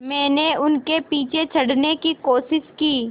मैंने उनके पीछे चढ़ने की कोशिश की